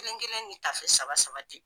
Kelen kelen ni tafe saba saba de